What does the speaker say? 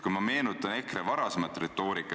Kui ma meenutan EKRE varasemat retoorikat ...